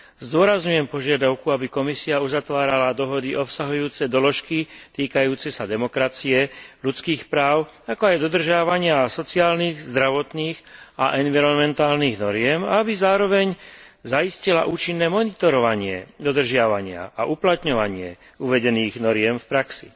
Zdôrazňujem požiadavku, aby Komisia uzatvárala dohody obsahujúce doložky týkajúce sa demokracie, ľudských práv, ako aj dodržiavania sociálnych, zdravotných a environmentálnych noriem, aby zároveň zaistila účinné monitorovanie dodržiavania a uplatňovanie uvedených noriem v praxi.